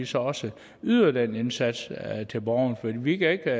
så også yder den indsats til borgerne fordi vi kan ikke